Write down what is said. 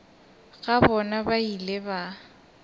ga bona ba ile ba